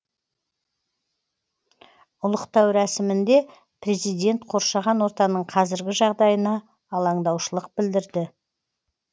ұлықтау рәсімінде президент қоршаған ортаның қазіргі жағдайына алаңдаушылық білдірді